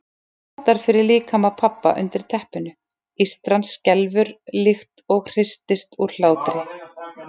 Það mótar fyrir líkama pabba undir teppinu, ístran skelfur líkt og hristist úr hlátri.